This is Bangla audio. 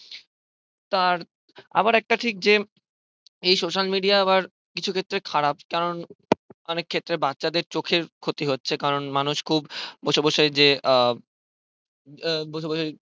তার আবার একটা ঠিক যে এই social media আবার কিছু ক্ষেত্রে খারাপ অনেক ক্ষেত্রে বাচ্ছাদের চোখের ক্ষতি হচ্ছে কারণ মানুষ খুব বসে বসে যে আহ আহ বসেবসে